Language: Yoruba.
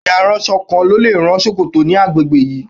Bẹ́ẹ̀ ni, aránṣọ kan ló lè rán ṣòkòtò ní agbègbè yìí.